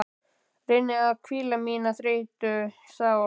Reyni að hvíla mína þreyttu sál.